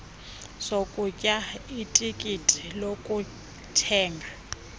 sokutya itikiti lokuthenga